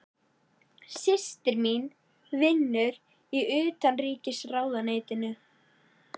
Systir mín vinnur í Utanríkisráðuneytinu.